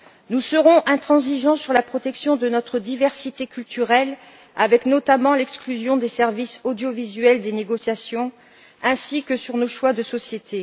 Nous serons intransigeants sur la protection de notre diversité culturelle, avec notamment l'exclusion des services audiovisuels des négociations, ainsi que sur nos choix de société.